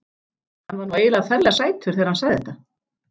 Hann var nú eiginlega ferlega sætur þegar hann sagði þetta.